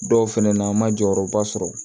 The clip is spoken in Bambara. Dɔw fɛnɛ na an ma jɔyɔrɔba sɔrɔ